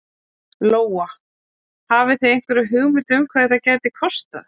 Lóa: Hafið þið einhverja hugmynd um hvað þetta gæti kostað?